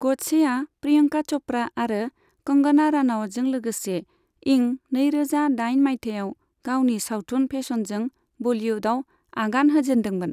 गडसेआ प्रियंका च'प्रा आरो कंगना रानावटजों लोगसे इं नैरोजा दाइन माइथायाव गावनि सावथुन फेशनजों बलियुडआव आगान होजेन्दोंमोन।